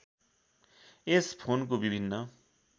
यस फोनको विभिन्न